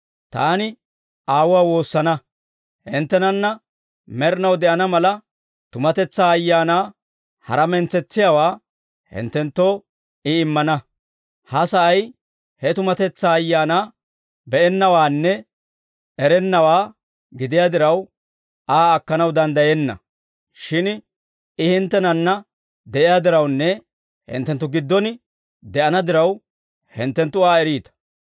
Taani Aawuwaa woosana; hinttenanna med'inaw de'ana mala, tumatetsaa Ayaanaa, hara mentsetsiyaawaa hinttenttoo I immana. Ha sa'ay he tumatetsaa Ayaana be'ennawaanne erennawaa gidiyaa diraw, Aa akkanaw danddayenna; shin I hinttenanna de'iyaa dirawunne hinttenttu giddon de'ana diraw, hinttenttu Aa eriita.